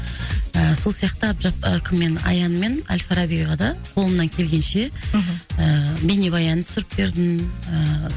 ыыы сол сияқты ы кім мен аян мен ал фарабиға да қолымнан келгенше мхм ыыы бейнебаян түсіріп бердім ыыы